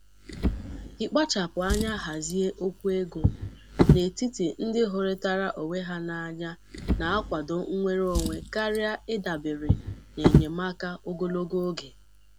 Ị́kpachapụ anya hazie okwu ego n'etiti ndị hụrịtara onwe ha n'anya na-akwado nnwere Onwe karịa ịdabere n'enyemaka ogologo oge.